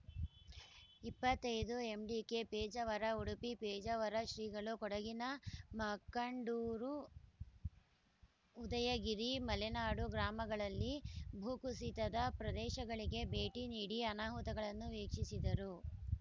ಇಪ್ಪತ್ತೈದು ಎಂಡಿಕೆ ಪೇಜಾವರ ಉಡುಪಿ ಪೇಜಾವರ ಶ್ರೀಗಳು ಕೊಡಗಿನ ಮಕ್ಕಂಡುರು ಉದಯಗಿರಿ ಮಳೆನಾಡು ಗ್ರಾಮಗಳಲ್ಲಿ ಭೂಕುಸಿತದ ಪ್ರದೇಶಗಳಿಗೆ ಭೇಟಿ ನೀಡಿ ಅನಾಹುತಗಳನ್ನು ವೀಕ್ಷಿಸಿದರು